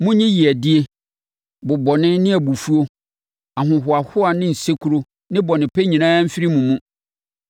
Monyi yeadie, bobɔne ne abufuo, ahohoahoa ne nsekuro ne bɔnepɛ nyinaa mfiri mo mu.